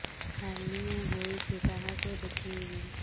hernia ହୋଇଛି କାହାକୁ ଦେଖେଇବି